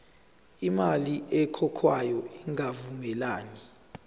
imali ekhokhwayo ingavumelani